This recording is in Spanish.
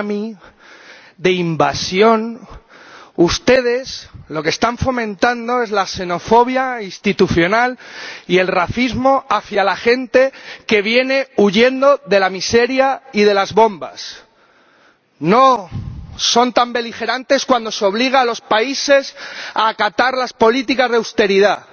Llama la atención la ligereza con la que se habla en esta sala de plaga, de tsunami, de invasión. Ustedes lo que están fomentando es la xenofobia institucional y el racismo hacia la gente que viene huyendo de la miseria y de las bombas. No son tan beligerantes cuando se obliga a los países a acatar las políticas de austeridad,